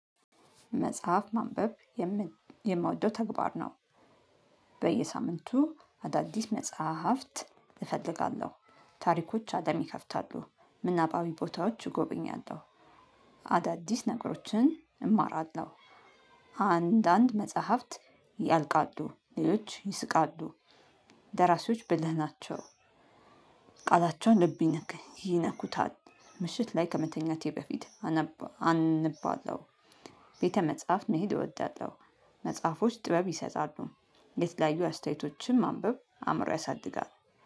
መጽሐፍ ማንበብ የምን የምወደው ተግባር ነው። በየሳምንቱ አዳዲስ መጽሐፍት እፈልጋለሁ ታሪኮች አደም ይከፍታሉ ምናባዊ ቦታዎች እጎበኛለሁ። አዳዲስ ነገሮችን እማራለሁ። አንዳንድ መጽሐፍት ያልቃሉ ሌሎች ይስቃሉ። ደራሲዎች ብልህ ናቸው። ቃላቸው ልብ ይነከ ይነኩታል። ምሽት ላይ ከመተኛቴ በፊት አነበ አነባለው። ቤተ መጽሐፍ መሄድ እወዳለው። መጽሐፎች ጥበብ ይሰጣሉ። የተለያዩ አስተያየቶችን ማንበብ አእምሮ ያሳድጋል።